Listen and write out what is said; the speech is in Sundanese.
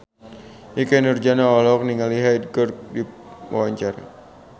Ikke Nurjanah olohok ningali Hyde keur diwawancara